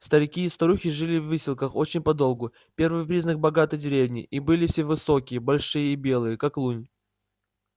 старики и старухи жили в выселках очень подолгу первый признак богатой деревни и были все высокие большие и белые как лунь